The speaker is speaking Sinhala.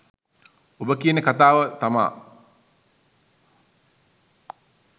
ඔබ කියන කතාවම තමා